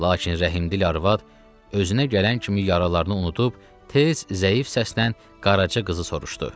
Lakin rəhmdil arvad özünə gələn kimi yaralarını unudub tez zəif səslə qarajı qızı soruşdu.